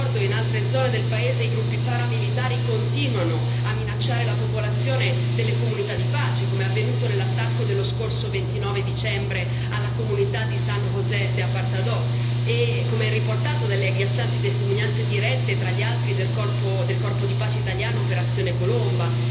e in altre zone del paese i gruppi paramilitari continuano a minacciare la popolazione delle comunità di pace, come è avvenuto nell'attacco dello scorso 29 dicembre alla comunità di San José de Apartadó e come è riportato dalle agghiaccianti testimonianze dirette, tra le altre, del Corpo di pace italiano Operazione Colomba.